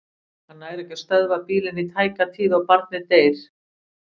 Hann nær ekki að stöðva bílinn í tæka tíð og barnið deyr.